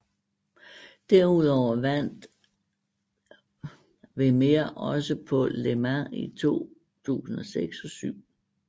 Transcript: Derudover vandt Werner også på Le Mans i 2006 og 2007